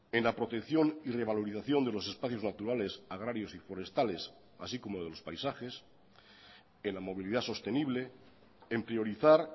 en la protección y revalorización de los espacios naturales agrarios y forestales así como de los paisajes en la movilidad sostenible en priorizar